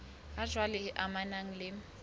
ha jwale e amanang le